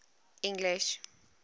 english